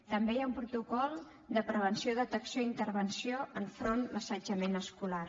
també hi ha un protocol de prevenció detecció i intervenció enfront l’assetjament escolar